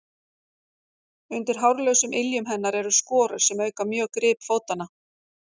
undir hárlausum iljum hennar eru skorur sem auka mjög grip fótanna